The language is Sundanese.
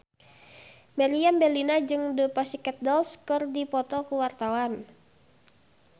Meriam Bellina jeung The Pussycat Dolls keur dipoto ku wartawan